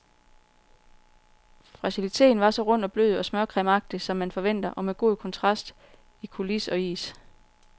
Fragiliteen var så rund og blød og smørcremeagtig, som man forventer, og med god kontrast i coulis og is.